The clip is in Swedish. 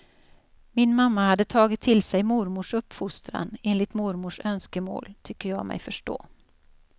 Min mamma hade tagit till sig mormors uppfostran enligt mormors önskemål, tycker jag mig förstå.